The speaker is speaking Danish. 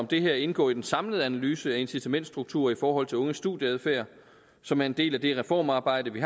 det her indgå i den samlede analyse af incitamentstrukturer i forhold til unges studieadfærd som er en del af det reformarbejde vi